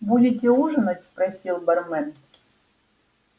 будете ужинать спросил бармен